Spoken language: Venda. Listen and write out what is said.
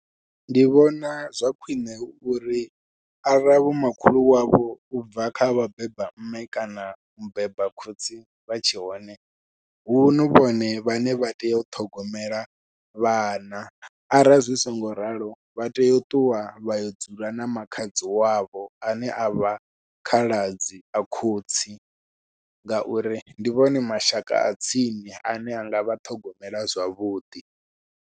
Ndi vhona zwa khwiṋe hu uri arali vho makhulu wavho ubva kha vhabeba mme kana mubeba khotsi vha tshe hone hu vhone vhane vha tea u ṱhogomela vhana, ara zwi songo ralo vha tea u ṱuwa vhayo dzula na makhadzi wavho ane avha khaladzi a khotsi ngauri ndi vhone mashaka a tsini ane anga vha ṱhogomela zwavhuḓi.